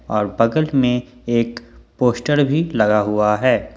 और बगल में एक पोस्टर भी लगा हुआ है।